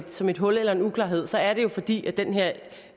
som et hul eller en uklarhed er det jo fordi den her